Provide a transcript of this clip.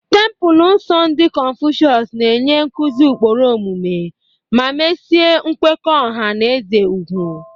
Tempulu nsọ ndị Konfucius na-enye nkuzi ụkpụrụ omume ma mesie nkwekọ ọha na eze ugwu.